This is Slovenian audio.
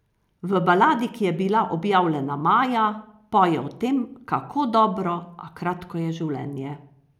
V baladi, ki je bila objavljena maja, poje o tem, kako dobro, a kratko, je življenje.